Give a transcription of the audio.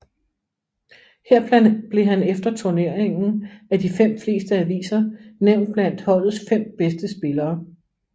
Her blev han efter turneringen af de fleste aviser nævnt blandt holdets fem bedste spillere